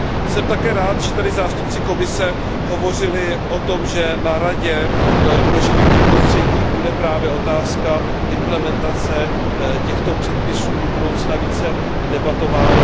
Jsem také rád, že tady zástupci Komise hovořili o tom, že na Radě pro životní prostředí bude právě otázka implementace těchto předpisů do budoucna více debatována.